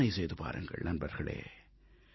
கற்பனை செய்து பாருங்கள் நண்பர்களே